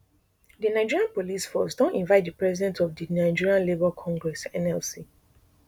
di nigeria police force don invite di president of di nigeria labour congress nlc